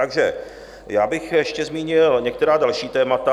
Takže já bych ještě zmínil některá další témata.